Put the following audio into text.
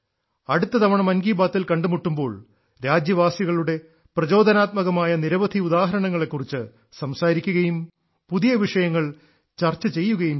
അടുത്ത തവണ മൻ കി ബാത്തിൽ കണ്ടുമുട്ടുമ്പോൾ രാജ്യവാസികളുടെ പ്രചോദനാത്മകമായ നിരവധി ഉദാഹരണങ്ങളെക്കുറിച്ച് സംസാരിക്കുകയും പുതിയ വിഷയങ്ങൾ ചർച്ച ചെയ്യുകയും ചെയ്യും